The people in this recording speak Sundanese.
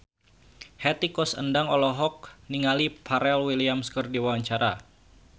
Hetty Koes Endang olohok ningali Pharrell Williams keur diwawancara